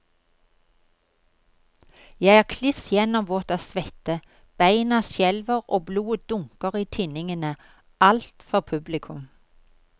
Jeg er kliss gjennomvåt av svette, beina skjelver, blodet dunker i tinningene, alt for publikum.